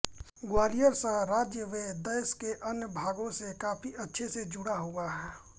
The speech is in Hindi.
ग्वालियर शहर राज्य व देश के अन्य भागों से काफ़ी अच्छे से जुड़ा हुआ है